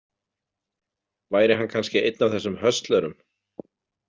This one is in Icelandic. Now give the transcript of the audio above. Væri hann kannski einn af þessum höstlerum?